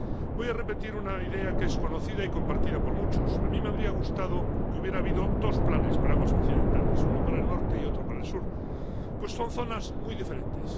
Voy a repetir una idea que es conocida y compartida por muchos a mí me habría gustado que hubiera habido dos planes para aguas occidentales, uno para el norte y otro para el sur, pues son zonas muy diferentes.